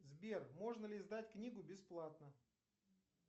сбер можно ли издать книгу бесплатно